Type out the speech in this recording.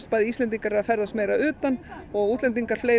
bæði Íslendingar eru að ferðast meira að utan og útlendingar